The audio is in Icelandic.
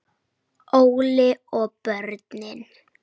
Óli og börnin.